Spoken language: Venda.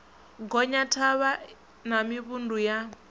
gonya thavha na mivhundu ya